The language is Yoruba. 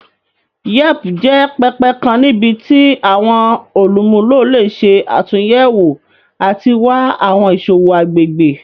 Yelp jẹ pẹpẹ kan nibiti awọn olumulo le ṣe atunyẹwo ati wa awọn iṣowo agbegbe.